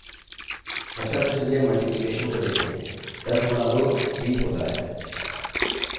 अच्छा तो चलिए अब मल्टीप्लिकेशन गुणा को देखें 10 गुणा 2 20 होता है और हमें 20 मिल गया